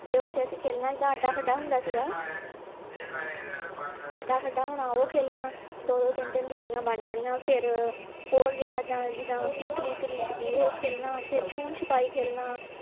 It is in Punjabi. ਤੇ ਓਥੇ ਅਸੀਂ ਖੇਲਣਾ ਹੁੰਦਾ ਸੀ ਗਾ ਅੱਡਾ ਹੋਣਾ ਉਹ ਖੇਲਣਾ ਦੋ ਦੋ ਤਿਨ ਤਿਨ ਜੋੜਿਆਂ ਬਣ ਜਾਣੀਆਂ ਫੇਰ ਹੋਰ ਜਿਹੜਾ ਇੱਦਾਂ ਜਿੱਦਾਂ ਕਿਕਲੀ ਦੀ ਉਹ ਖੇਲਣਾ ਫੇਰ ਛੁਪਣ ਛੁਪਾਈ ਖੇਲਣਾ